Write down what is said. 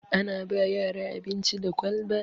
Ana ba yara abinci da kwalba